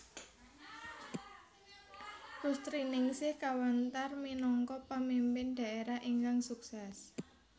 Rustriningsih kawentar minangka pamimpin dhaérah ingkang suksés